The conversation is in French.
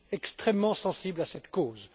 Je suis extrêmement sensible à cette cause.